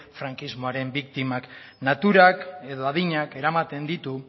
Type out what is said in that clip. frankismoaren biktimak naturak edo adinak eramaten ditu